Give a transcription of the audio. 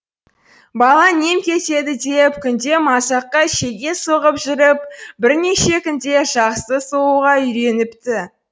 бала нем кетеді деп күнде мазаққа шеге соғып жүріп бірнеше күнде жақсы соғуға үйреніпті